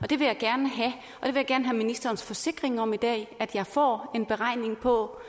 det vil jeg gerne have ministerens forsikring om i dag at jeg får en beregning på